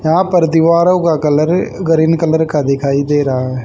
यहां पर दीवारों का कलर गरीन कलर का दिखाई दे रहा है।